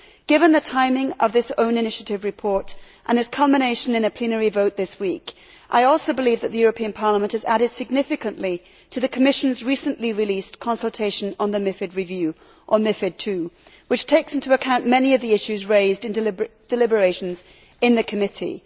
Given the timing of this own initiative report and its culmination in a plenary vote this week, I also believe that the European Parliament has added significantly to the Commission's recently released consultation on the MiFID II review which takes into account many of the issues raised in deliberations in the committee.